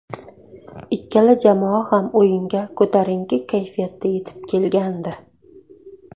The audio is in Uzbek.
Ikkala jamoa ham o‘yinga ko‘tarinki kayfiyatda yetib kelgandi.